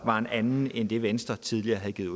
var en anden end den venstre tidligere havde givet